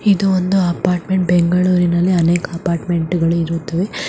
ಇದು ಒಂದು ಅಪಾಟ್‌ಮೆಂಟ್‌ ಬೆಂಗಳೂರಿನಲ್ಲಿ ಅನೇಕ ಅಪಾಟ್‌ಮೆಂಟ್‌ ಗಳು ಇರುತ್ತವೆ.